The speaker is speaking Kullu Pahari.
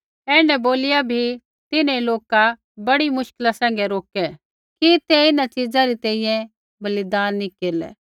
ऐण्ढै बोलिया बी तिन्हैं लोका बड़ी मुश्किला सैंघै रोकै कि ते इन्हां च़िज़ै री तैंईंयैं बलिदान नी केरलै